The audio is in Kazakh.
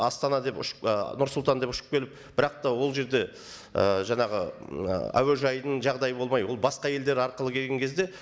астана деп ұшып ы нұр сұлтан деп ұшып келіп бірақ та ол жерде ы жаңағы м ы әуежайдың жағдайы болмай ол басқа елдер арқылы келген кезде